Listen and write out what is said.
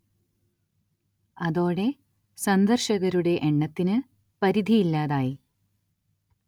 അതോടെ, സന്ദർശകരുടെ എണ്ണത്തിന് പരിധിയില്ലാതായി.